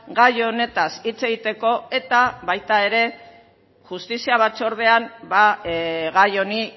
gai honetaz hitz egiteko eta baita ere justizia batzordean gai honi